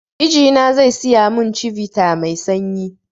Mijina zai siya mun chivita mai sanyi